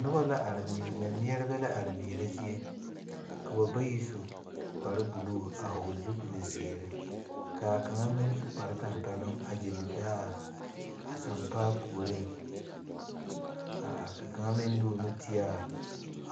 Noba la are mɛ mɛmɛɛreba la are mɛɛre zie. Ka ba bayi su kparo buluu a vogle zupul ziire. Ka kang meŋ su kpar tampɛluŋ a gyili be a sampaa pooreŋ. A are ka a kang meŋ de a o nu te